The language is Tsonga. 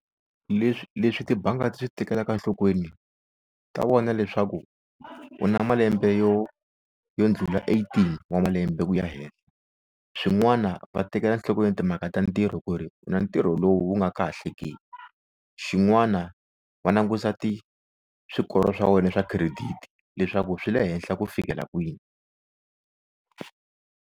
Leswi leswi tibanga ti swi tekelaka nhlokweni ta vona leswaku u na malembe yo yo ndlula eighteen wa malembe ku ya henhla swin'wana va tekela nhlokweni timhaka ta ntirho ku ri u na ntirho lowu wu nga ka kahle ke xin'wana va langusa ti swikoro swa wena swa credit leswaku swi le henhla ku fikela kwini.